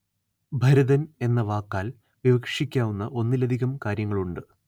ഭരതന്‍ എന്ന വാക്കാല്‍ വിവക്ഷിക്കാവുന്ന ഒന്നിലധികം കാര്യങ്ങളുണ്ട്